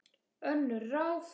Önnur ráð